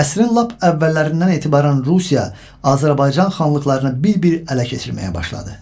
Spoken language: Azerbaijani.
Əsrin lap əvvəllərindən etibarən Rusiya Azərbaycan xanlıqlarını bir-bir ələ keçirməyə başladı.